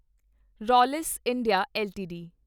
Rallis India LTD